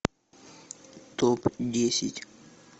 топ десять